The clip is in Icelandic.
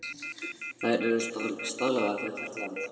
Þær eru staðlaðar fyrir hvert land.